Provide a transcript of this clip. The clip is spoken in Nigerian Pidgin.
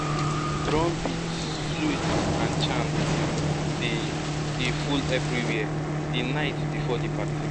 drumbeats flutes and chanting dey dey full everywhere di night before di party